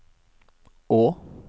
å